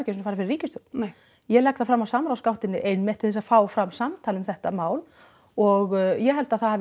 sinni farið fyrir ríkisstjórn nei ég legg það fram á samráðsgáttinni einmitt til þess að fá fram samtal um þetta mál og ég held að það hafi